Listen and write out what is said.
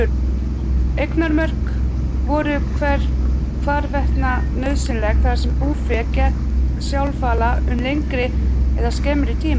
Eignarmörk voru hvarvetna nauðsynleg þar sem búfé gekk sjálfala um lengri eða skemmri tíma.